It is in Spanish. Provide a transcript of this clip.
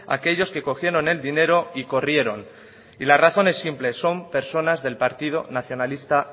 a aquellos que cogieron el dinero y corrieron y la razón es simple son personas del partido nacionalista